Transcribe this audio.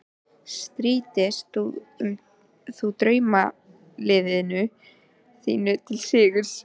PÁLL: Má ég biðja hæstvirta útgerðarmenn að fá sér sæti.